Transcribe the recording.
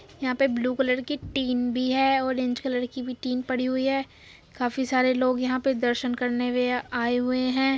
यहाँ पे blue colour की टीन भी है ऑरेंज कलर की भी टीन पड़ी हुई है। काफी सारे लोग यहाँ पे दर्शन करने वे आये हुए है।